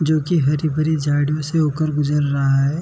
जोकि हरी-भरी झाड़ियों से हो कर गुजर रहा है।